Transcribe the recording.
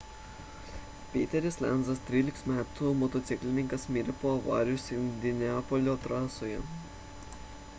peteris lenzas 13 m motociklininkas mirė po avarijos indianapolio trasoje